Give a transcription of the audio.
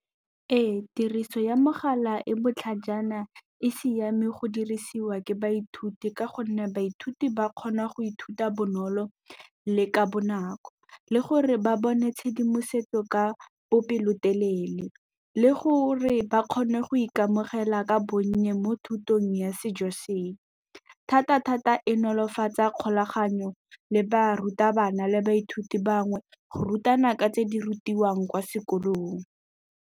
Ee, tiriso ya mogala e botlhajana e siame go dirisiwa ke baithuti ka gonne baithuti ba kgona go ithuta bonolo le ka bonako le gore ba bone tshedimosetso ka bopelotelele le gore ba kgone go ikamogela ka bonnye mo thutong ya sejo senye thata-thata e nolofatsa kgolaganyo le barutabana le baithuti bangwe go rutana ka tse di rutiwang kwa sekolong.